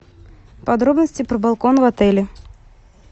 подробности про балкон в отеле